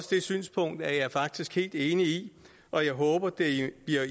det synspunkt er jeg faktisk helt enig i og jeg håber det bliver